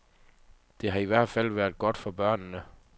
Det har i hvert fald været godt for børnene.